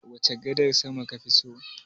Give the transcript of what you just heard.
Wace gadar sama kafi so?